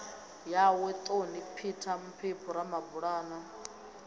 yawe toni peter mphephu ramabulana